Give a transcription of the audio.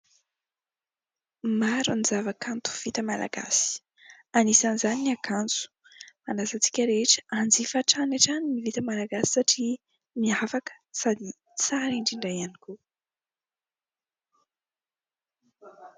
Maro ny zava-kanto vita malagasy. Anisan'izany ny akanjo. Manasa antsika rehetra anjifa hatrany hatrany ny vita malagasy satria miavaka sady tsara indrindra ihany koa.